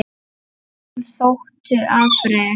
Honum þóttu afrek